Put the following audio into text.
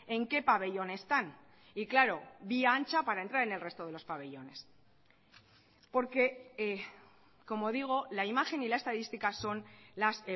en qué pabellón están y claro vía ancha para entrar en el resto de los pabellones porque como digo la imagen y la estadística son las